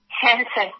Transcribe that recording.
হ্যাঁ স্যার